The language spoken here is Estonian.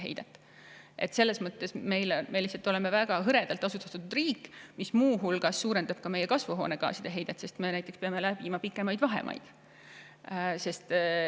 Me oleme lihtsalt väga hõredalt asustatud riik, mis suurendab muu hulgas ka meie kasvuhoonegaaside heidet, sest me peame läbima pikemaid vahemaid.